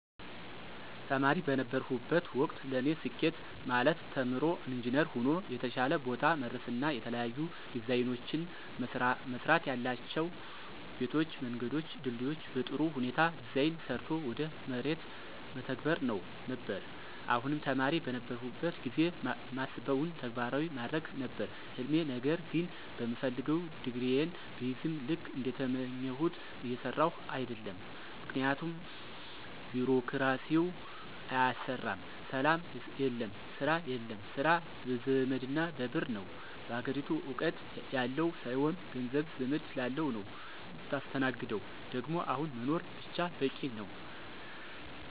ተማሪ በነበርሁበት ወቅት ለኔ ስኬት ማለት ተምሮ ኢንጅነር ሆኖ የተሻለ ቦታ መድረስና የተለያዩ ዲዛይኖችን መስራትያላቸው ቤቶችን፣ መንገዶችን፣ ድልድዮችን በጥሩ ሁኔታ ዲዛይን ሰርቶ ወደ መሬት መተግበር ነበር፣ አሁንም ተማሪ በነበርሁበት ጊዜ ማስበውን ተግባራዊ ማድረግ ነበር ህልሜ ነገር ግን በምፈልገው ዲግሪየን ብይዝም ልክ እንደተመኘሁት እየሰራሁ አደለም ምክንያቱም ቢሮክራሲው አያሰራም፣ ሰላም የለም፣ ስራ የለም፣ ስራ በዘመድና በብር ነው፣ አገሪቱ እውቀት ያለው ሳይሆን ገንዘብ፣ ዘመድ ላለው ነው ምታስተናግደው ደግሞ አሁን መኖር ብቻ በቂ ነው።